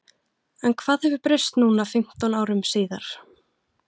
En hvað hefur breyst núna fimmtán árum síðar?